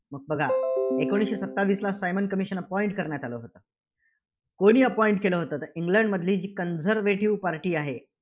एकोणीसशे सत्तावीसला Simon commission appoint करण्यात आलं होतं. कोणी appoint केलं होतं? तर इंग्लंडमधील जी conservative party आहे,